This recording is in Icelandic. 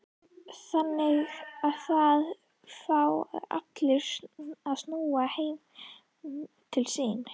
Þannig að það fá allir að snúa heim til sín?